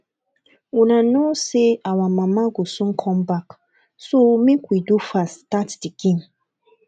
una no say our mama go soon come back so make we do fast start the game